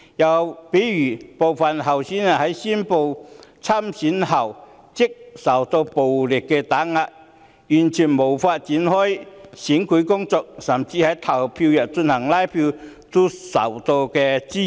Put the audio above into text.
又例如部分候選人在宣布參選後即受到暴力打壓，完全無法展開選舉工程，甚至在投票日拉票也受到滋擾。